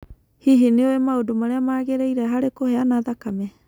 Hihi nĩ ũĩ maũndũ marĩa magĩrĩire harĩ kũheana thakame?